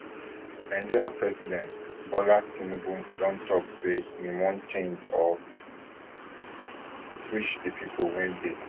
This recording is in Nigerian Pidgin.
nigeria president bola tinubu don tok say im wan change or switch di pipo wey dey